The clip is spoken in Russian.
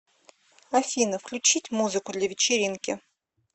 афина включить музыку для вечеринки